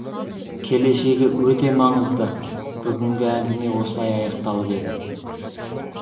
келешегі өте маңызды бүгінгі әңгіме осылай аяқталып еді